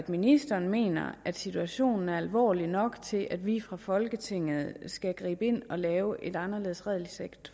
ministeren mener at situationen er alvorlig nok til at vi fra folketinget skal gribe ind og lave et anderledes regelsæt